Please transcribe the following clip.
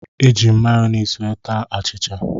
Eji m mayọnesị wee taa achịcha.